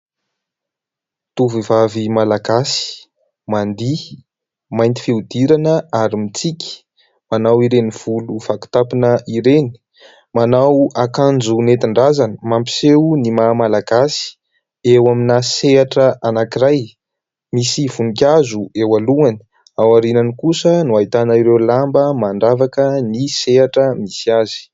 Tovovavy malagasy, mandihy, mainty fihodirana ary mitsiky. Manao ireny volo vakitampona ireny. Manao akanjo nentin-drazana mampiseho ny maha malagasy, eo amina sehatra anankiray. Misy voninkazo eo alohany. Ao aorianany kosa no ahitana ireo lamba mandravaka ny sehatra misy azy.